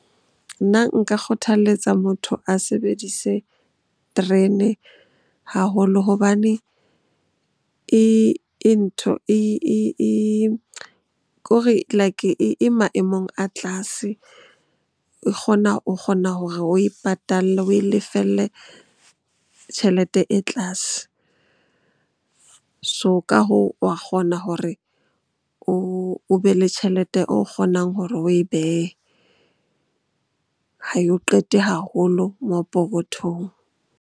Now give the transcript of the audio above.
Nna nka kgothaletsa motho a sebedise terene haholo hobane e ntho kore like e maemong a tlase. O kgona hore oe patale, oe lefelle tjhelete e tlase. So, ka hoo wa kgona hore o be le tjhelete o kgonang hore oe behe. Ha yo qete haholo moo pokothong.